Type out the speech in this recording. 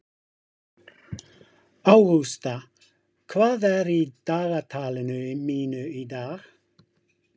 Ágústa, hvað er í dagatalinu mínu í dag?